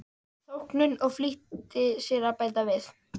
þóknun og flýtti sér að bæta við